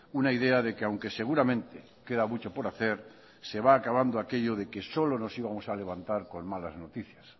una idea de que aunque seguramente queda mucho por hacer se va acabando aquello de que solo nos íbamos a levantar con malas noticias